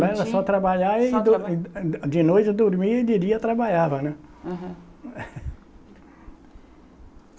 Lá era só trabalhar e dor ã, de de noite dormia e de dia trabalhava, né? Aham